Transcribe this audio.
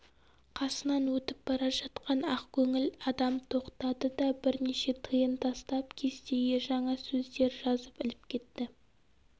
қасынан өтіп бара жатқан ақкөңіл адам тоқтады да бірнеше тиын тастап кестеге жаңа сөздер жазып іліп кетті